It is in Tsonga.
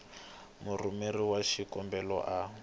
a murhumeri wa xikombelo a